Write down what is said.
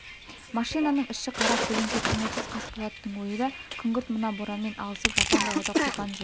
машинаның іші қара көлеңке көңілсіз қасболаттың ойы да күңгірт мына боранмен алысып жапан далада қоспан жүр